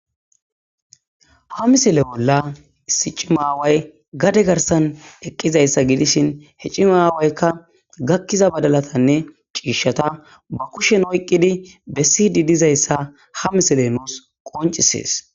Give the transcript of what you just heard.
Ha misele molla issi cimaaway gade garsan eqqizayssa gidishin he cimaawaykka gakkiza badalatanne ciishata ba kushen oyqqidi bessi di dizayssa ha miselenoos qoncisees.